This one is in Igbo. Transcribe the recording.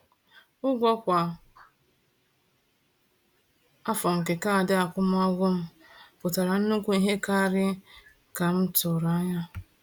Ụgwọ kwa afọ nke kaadị akwụmụgwọ m pụtara nnukwu ihe karịa ka m tụrụ anya.